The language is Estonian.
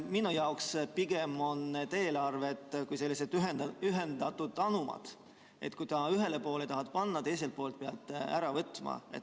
Minu jaoks on need eelarved pigem kui ühendatud anumad: kui ühele poole tahad juurde panna, pead teiselt poolt ära võtma.